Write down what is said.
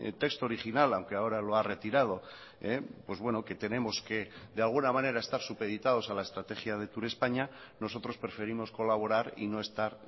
texto original aunque ahora lo ha retirado pues bueno que tenemos que de alguna manera estar supeditados a la estrategia de turespaña nosotros preferimos colaborar y no estar